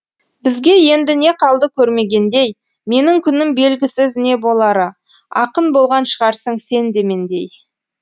бізге енді не қалды көрмегендей менің күнім белгісіз не болары ақын болған шығарсың сен де мендей